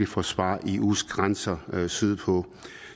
forsvare eus grænser sydpå